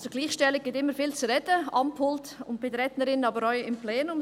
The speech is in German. – Gleichstellung gibt immer viel zu reden, am Pult und bei der Rednerin, aber auch im Plenum.